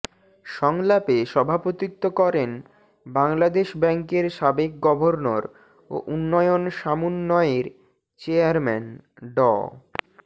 সংলাপে সভাপতিত্ব করেন বাংলাদেশ ব্যাংকের সাবেক গভর্নর ও উন্নয়ন সমুন্বয়ের চেয়ারম্যান ড